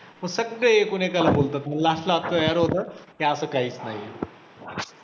मग सगळे एकूण एकाला बोलतात, मग last ला clear होतं की असं काहीच नाहीये.